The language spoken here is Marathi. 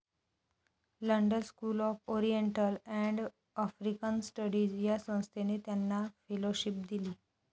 London School of Oriental and African Studies या संस्थेने त्यांना फेलोशिप दिली.